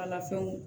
A lafɛnw